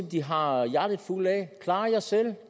de har hjertet fuldt af klar jer selv